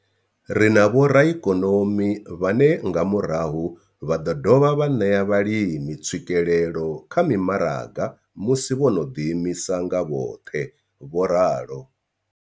Ri na vhoraikonomi vhane nga murahu vha ḓo dovha vha ṋea vhalimi tswikelelo kha mimaraga musi vho no ḓi imisa nga vhoṱhe, vho ralo.